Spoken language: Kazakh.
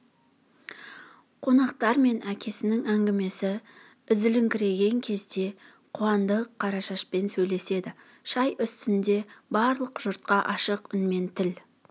қонақтар мен әкесінің әңгімесі үзіліңкіреген кезде қуандық қарашашпен сөйлеседі шай үстінде барлық жұртқа ашық үнмен тіл